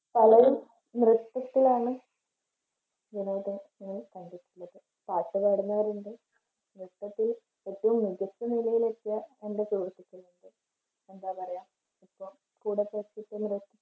പലരും നൃത്തത്തിൽ ആണ് വിനോദം പാട്ട് പാടുന്നവർ ഉണ്ട് നൃത്തത്തിൽ ഒത്തിരി മികച്ച നിലയിൽ എത്തിയ എൻറെ സുഹൃത്തുക്കളുമുണ്ട്. എന്താ പറയുക ഇപ്പം